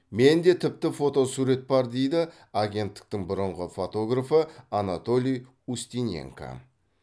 менде тіпті фотосурет бар дейді агенттіктің бұрынғы фотографы анатолий устиненко